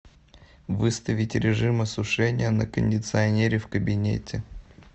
выставить режим осушения на кондиционере в кабинете